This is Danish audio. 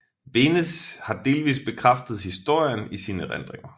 Beneš har delvist bekræftet historien i sine erindringer